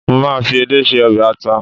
mo ma fi edé se obe ata